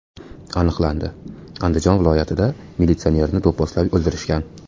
Aniqlandi: Andijon viloyatida militsionerni do‘pposlab o‘ldirishgan.